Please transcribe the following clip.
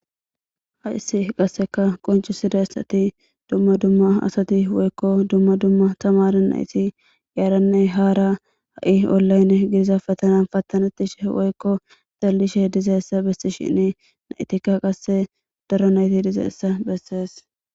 Haissi qasseka qoncu sidaessati dumma dumma asati woykko dumma dumma tamara nayti yaaranne haara ha'i ollaynne gidiza fatanan pattanettishe woykko xallishe dizaessa bessi shinni naytikka qasse daro nayti dize essa bessees.